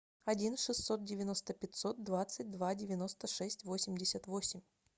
один шестьсот девяносто пятьсот двадцать два девяносто шесть восемьдесят восемь